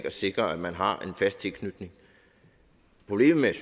at sikre at man har en fast tilknytning problemet